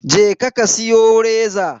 Je ka ka siyo reza.